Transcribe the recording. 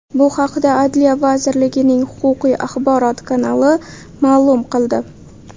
Bu haqda Adliya vazirligining Huquqiy-axborot kanali ma’lum qildi .